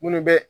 Minnu bɛ